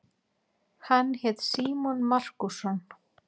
Hann hét Símon Markússon.